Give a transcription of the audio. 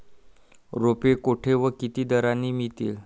रोपे कोठे व किती दराने मिळतील.